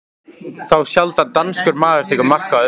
Þá sjaldan danskur maður tekur mark á orðum